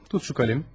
Tut bu qələmi.